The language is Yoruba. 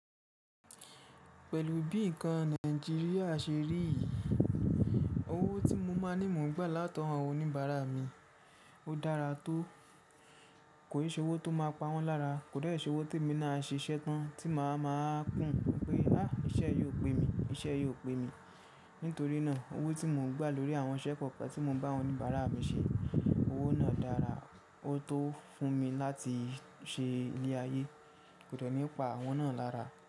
Pẹ̀lú bí nǹkan Nàìjíríà ṣe rí, owó tí mo máa ní mò ń gbà látọ̀wo awon oníbàárà mi, ó dára tó. Kò n ṣe owó tó máa pa wọ́n lára, kò de n ṣe owó tí emi náà a ṣe iṣẹ́ tán tí màá máa kùn pé, "àá iṣẹ́ yiò pé mi, iṣẹ́ yiò pé mi." Nítorí náà owó tí mò ń gbà lórí àwọn iṣẹ́ kọ̀ọ̀kan tí mò ń bá awon oníbàárà mi ṣe, owó náà dára, ó tó fún mi láti ṣe ilé ayé, kò de ni pa awọ́n náà lára.